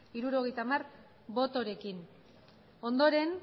hirurogeita hamar botorekin ondoren